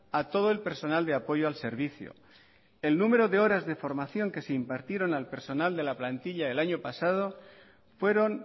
a todo el personal de apoyo al servicio el número de horas de formación que se impartieron al personal de la plantilla el año pasado fueron